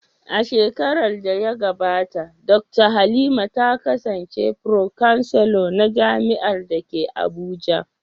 A shekarar da ta gabata, Dakta Halima ta kasance Pro-chancellor na jami’ar da ke Abuja.